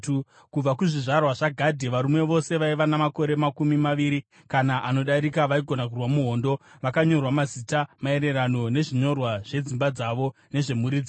Kubva kuzvizvarwa zvaGadhi: Varume vose vaiva namakore makumi maviri kana anodarika, vaigona kurwa muhondo, vakanyorwa mazita maererano nezvinyorwa zvedzimba dzavo nezvemhuri dzavo.